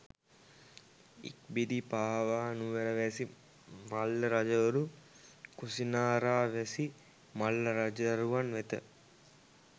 ඉක්බිති පාවා නුවරවැසි මල්ලරජවරු කුසිනාරාවැසි මල්ල රජදරුවන් වෙත